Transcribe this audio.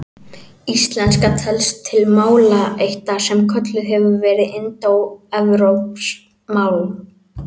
Íslenska telst til málaættar sem kölluð hefur verið indóevrópsk mál.